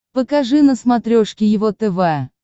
покажи на смотрешке его тв